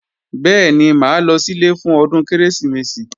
Bẹ́ẹ̀ni, mà á lọ sílé fún ọdún Kérésìmesì